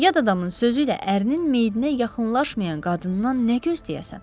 Yad adamın sözü ilə ərinin meyidinə yaxınlaşmayan qadından nə gözləyəsən?